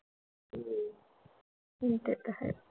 हम्म ते तर हाय.